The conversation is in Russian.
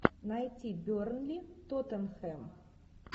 найти бернли тоттенхэм